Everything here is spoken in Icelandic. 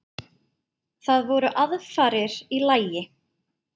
Það voru aðfarir í lagi!